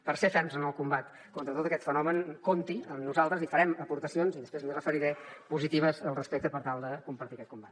per ser ferms en el combat contra tot aquest fenomen compti amb nosaltres i farem aportacions i després m’hi referiré positives al respecte per tal de compartir aquest combat